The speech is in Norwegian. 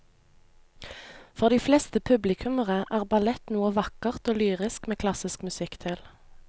For de fleste publikummere er ballett noe vakkert og lyrisk med klassisk musikk til.